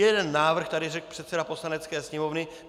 Jeden návrh tady řekl předseda Poslanecké sněmovny.